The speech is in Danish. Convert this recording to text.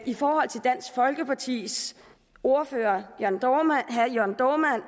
i forhold til dansk folkepartis ordfører herre jørn dohrmanns